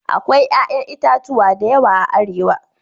Akwai 'ƴa'ƴan itatuwa da yawa a Arewa.